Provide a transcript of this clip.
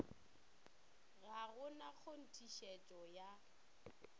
ga go na kgonthišetšo ya